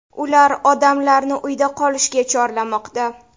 Ular odamlarni uyda qolishga chorlamoqda.